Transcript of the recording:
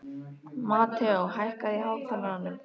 Mateó, hækkaðu í hátalaranum.